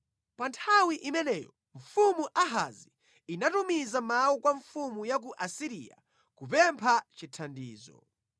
Pa nthawi imeneyo mfumu Ahazi inatumiza mawu kwa mfumu ya ku Asiriya kupempha chithandizo.